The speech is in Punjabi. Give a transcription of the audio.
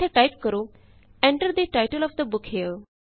ਇੱਥੇ ਟਾਇਪ ਕਰੋ Enter the title of the book here